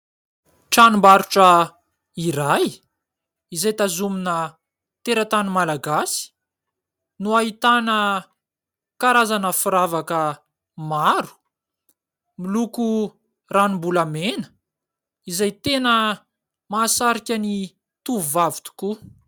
Tranombarotra iray izay tazomina teratany malagasy no ahitana karazana firavaka maro, miloko ranom-bolamena izay tena mahasarika ny tovovavy tokoa.